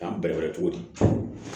K'an bɛrɛbɛrɛ cogo di